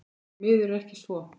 Því miður er ekki svo.